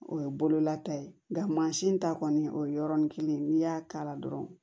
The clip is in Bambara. O ye bololata ye nka mansin ta kɔni o ye yɔrɔnin kelen ye n'i y'a k'a la dɔrɔn